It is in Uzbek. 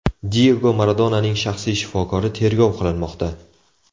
Diyego Maradonaning shaxsiy shifokori tergov qilinmoqda.